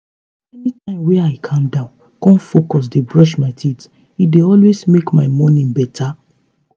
anytime wey i calm down con focus dey brush my teeth e dey always make my morning better.